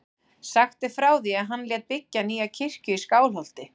Sagt er frá því að hann lét byggja nýja kirkju í Skálholti.